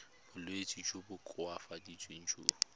bolwetsi jo bo koafatsang jo